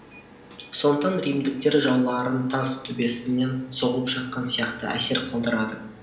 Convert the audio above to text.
сондықтан римдіктер жауларын тас төбесінен соғып жатқан сияқты әсер қалдырады